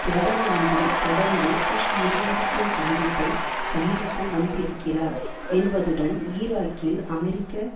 பிரதம மந்திரி தொடர்ந்து புஷ் நிர்வாகத்தின் கண்டிப்பை சந்தித்து வந்திருக்கிறார் என்பதுடன் ஈராக்கில் அமெரிக்க